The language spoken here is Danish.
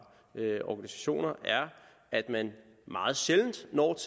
organisationer er at man meget sjældent når